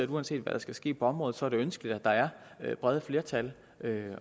uanset hvad der skal ske på området er det ønskeligt at der er brede flertal